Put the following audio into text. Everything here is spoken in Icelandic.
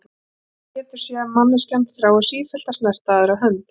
Ég held samt Pétur að manneskjan þrái sífellt að snerta aðra hönd.